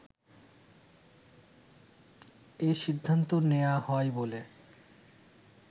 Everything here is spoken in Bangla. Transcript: এ সিদ্ধান্ত নেয়া হয় বলে